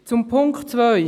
Zu Punkt 2: